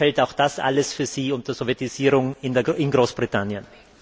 Oder fällt auch das alles für Sie unter Sowjetisierung in Großbritannien?